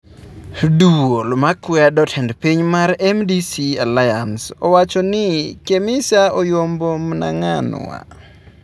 Duol makwedo tend piny mar MDC Alliance owacho ni Chamisa oyombo Mnanganwa